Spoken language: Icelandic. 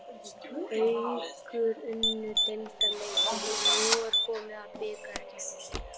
Haukar unnu deildarleikinn og nú er komið að bikarkeppninni.